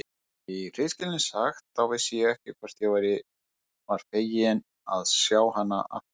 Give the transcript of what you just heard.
Í hreinskilni sagt, þá vissi ég ekki hvort ég var feginn að sjá hana aftur.